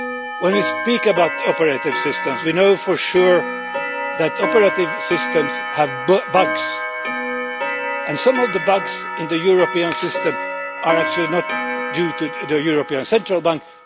When we speak about operating systems we know for sure that operating systems have bugs, and some of the bugs in the European system are actually not due to the European Central Bank.